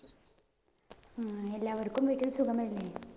ആഹ് എല്ലാവര്‍ക്കും വീട്ടില്‍ സുഖം അല്ലേ? .